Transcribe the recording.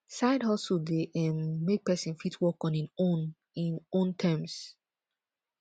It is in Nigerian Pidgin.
side hustle de um make persin fit work on in own in own terms